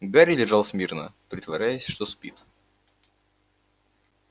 гарри лежал смирно притворяясь что спит